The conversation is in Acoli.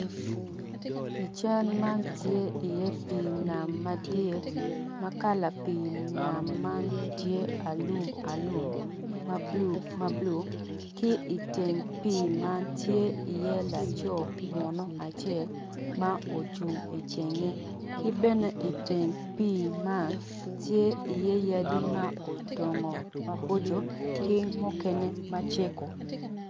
I cal man tye iye pii nam madit ma kala pii nam tye alum alum ma bulu bulu ki iteng pii man tye iye laco munu acel ma ocung itenge ki bene iteng pii man tye iye yadi ma odongo maboco ki mukene maceko